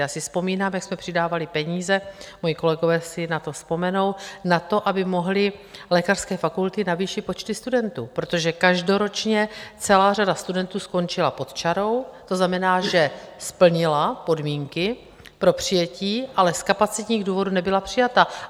Já si vzpomínám, jak jsme přidávali peníze, moji kolegové si na to vzpomenou, na to, aby mohly lékařské fakulty navýšit počty studentů, protože každoročně celá řada studentů skončila pod čarou, to znamená, že splnila podmínky pro přijetí, ale z kapacitních důvodů nebyla přijata.